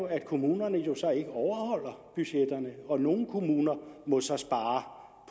at kommunerne så ikke overholder budgetterne og nogle kommuner må så spare